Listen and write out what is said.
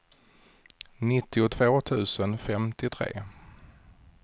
nittiotvå tusen femtiotre